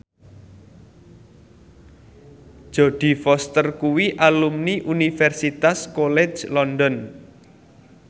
Jodie Foster kuwi alumni Universitas College London